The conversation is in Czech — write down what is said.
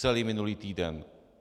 Celý minulý týden.